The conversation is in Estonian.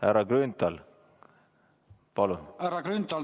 Härra Grünthal, palun!